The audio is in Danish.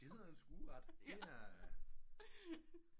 Det er sådan en skueret det er